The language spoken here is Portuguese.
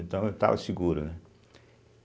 Então, eu estava seguro, né?